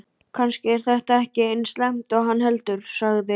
Kannski er þetta ekki eins slæmt og hann heldur, sagði